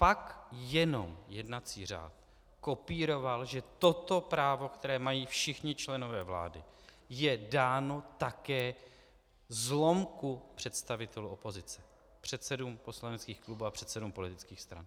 Pak jenom jednací řád kopíroval, že toto právo, které mají všichni členové vlády, je dáno také zlomku představitelů opozice - předsedům poslaneckých klubů a předsedům politických stran.